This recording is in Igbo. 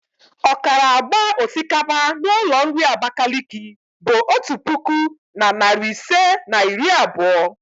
ọkara agba osikapa n'ụlọ nri Abakaliki bụ otu puku na narị ise na iri abụọ.